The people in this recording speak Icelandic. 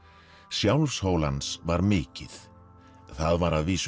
sjálfshól hans var mikið það var að vísu